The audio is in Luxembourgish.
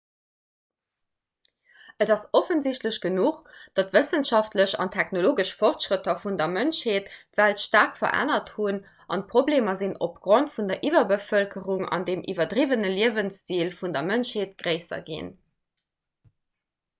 et ass offensichtlech genuch datt d'wëssenschaftlech an technologesch fortschrëtter vun der mënschheet d'welt staark verännert hunn an d'problemer sinn opgrond vun der iwwerbevëlkerung an dem iwwerdriwwene liewensstil vun der mënschheet gréisser ginn